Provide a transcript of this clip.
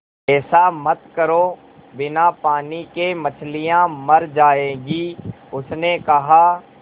ऐसा मत करो बिना पानी के मछलियाँ मर जाएँगी उसने कहा